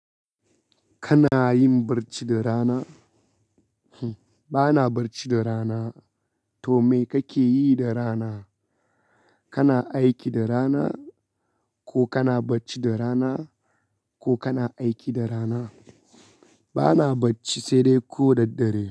Kana yin barci da rana? Hm, bana barci da rana. To, me kake yi da rana? Kana aiki da rana ko kana bacci da rana ko kana aiki da rana? Bana bacci sai dai ko daddare.